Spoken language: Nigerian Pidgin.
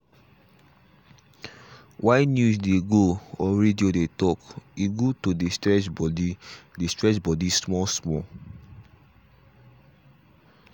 while news dey go or radio dey talk e good to dey stretch body dey stretch body small small.